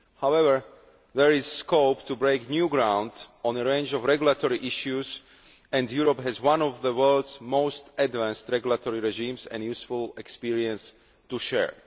However, there is scope to break new ground on a range of regulatory issues, and Europe has one of the world's most advanced regulatory regimes and useful experience to share.